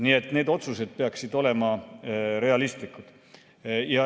Nii et need otsused peaksid olema realistlikud.